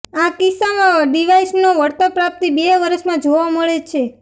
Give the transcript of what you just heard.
આ કિસ્સામાં ડિવાઇસનો વળતરપ્રાપ્તિ બે વર્ષમાં જોવા મળે છે